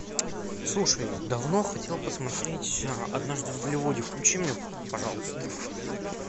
слушай давно хотел посмотреть однажды в голливуде включи мне пожалуйста